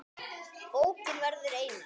Bókin verður einar